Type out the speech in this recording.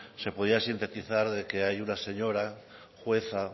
se podía sintetizar que hay una señora jueza